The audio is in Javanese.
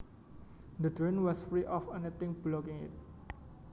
The drain was free of anything blocking it